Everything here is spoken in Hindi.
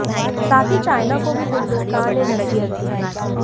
साथ ही चाइना को भी हिंदुस्तान ने नसीहत दी